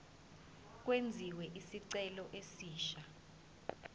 kwenziwe isicelo esisha